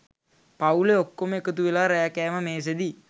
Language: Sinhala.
පවුලෙ ඔක්කොම එකතු වෙලා රෑ කෑම මේසෙදි